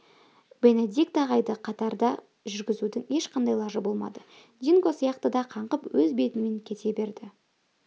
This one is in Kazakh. бенедикт ағайды қатарда жүргізудің ешқандай лажы болмады динго сияқты да қаңғып өз бетімен кете берді